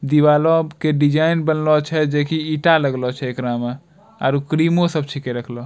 दिवाला के डिजाइन बनला छै जे की ईटा लगलो छै एकरा में आरो क्रीमों सब छीके रखलो।